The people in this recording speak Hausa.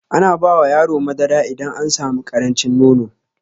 Ana bawa yaro madara idan an sami ƙarancin nono